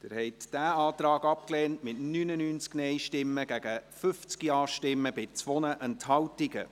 Sie haben diesen Antrag abgelehnt, mit 99 Nein- gegen 50 Ja-Stimmen bei 2 Enthaltungen.